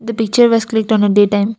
the picture was clicked on a day time.